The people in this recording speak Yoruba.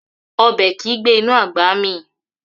Obe ki gbe inu agba mi.